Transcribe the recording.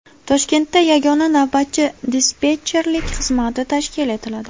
Toshkentda yagona navbatchi-dispetcherlik xizmati tashkil etiladi.